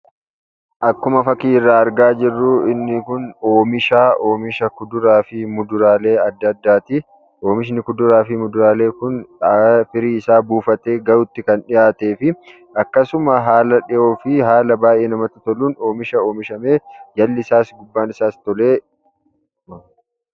Akkuma fakkii irraa argaa jirru inni kun oomisha, oomisha kuduraa fi muduraalee adda addaati. Oomishni kuduraa fi muduraalee adda addaa kun firii isaa buufatee gahuutti kan dhihaatee fi akkasuma haala dhihoo fi haala baay'ee namatti toluun oomisha oomishamee jalli isaas gubbaan isaas toledha.